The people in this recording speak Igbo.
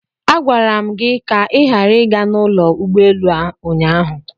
Agwara m gị ka ị ghara ịga n'ụlọ ụgbọelu ụnyaahụ!